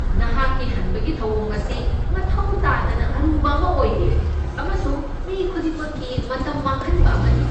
ꯅꯍꯥꯛꯀꯤ ꯍꯟꯕꯒꯤ ꯊꯧꯑꯣꯡ ꯑꯁꯤ ꯃꯊꯧ ꯇꯥꯗꯅ ꯑꯔꯨꯕ ꯑꯃ ꯑꯣꯏꯔꯦ ꯑꯃꯁꯨꯡ ꯃꯤ ꯈꯨꯗꯤꯡꯃꯛꯀꯤ ꯃꯇꯝ ꯃꯥꯡꯍꯟꯕ ꯑꯃꯅꯤ꯫